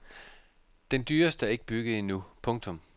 Den dyreste er ikke bygget endnu. punktum